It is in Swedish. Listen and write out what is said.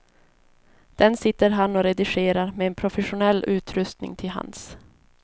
Den sitter han och redigerar med en professionell utrustning till hands.